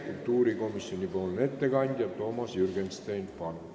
Kultuurikomisjoni ettekandja Toomas Jürgenstein, palun!